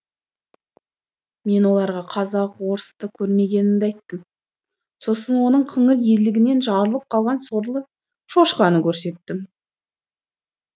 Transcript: мен оларға қазақ орысты көрмегенімді айттым сосын оның қыңыр ерлігінен жарылып қалған сорлы шошқаны көрсеттім